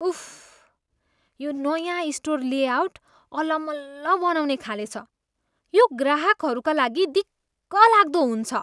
उफ्, यो नयाँ store layout अलमल्ल बनाउने खाले छ। यो ग्राहकहरूका लागि दिक्कलाग्दो हुन्छ।